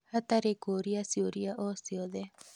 hatarĩ kũũria ciũria o ciothe